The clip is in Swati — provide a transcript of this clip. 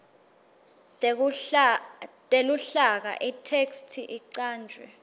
teluhlaka itheksthi icanjwe